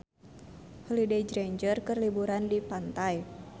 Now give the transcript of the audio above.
Holliday Grainger keur liburan di pantai